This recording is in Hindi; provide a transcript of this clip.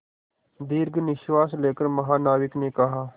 दीर्घ निश्वास लेकर महानाविक ने कहा